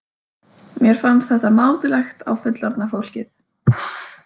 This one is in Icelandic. Mér fannst þetta mátulegt á fullorðna fólkið.